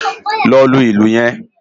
Lò lú ilú yèn